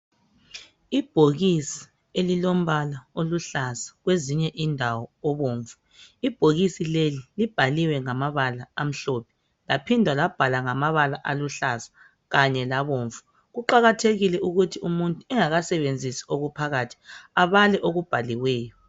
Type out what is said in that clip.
Ibhokisi elilombala oluhlaza kwezinye indawo obomvu, ibhokisi leli libhaliwe ngamabala amhlophe laphinda labhalwa ngamabala aluhlaza kanye labomvu. Kuqakathekile ukuthi umuntu engakasebenzisi okuphakathi able okubhaliweyo.